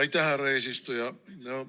Aitäh, härra eesistuja!